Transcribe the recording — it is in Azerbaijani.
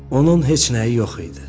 Onun heç nəyi yox idi.